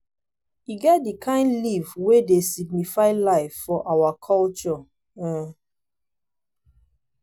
e get di kain leaf wey dey signify life for our culture. um